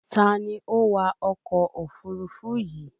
Ta ni ó wa ọkọ̀ òfurufú yìí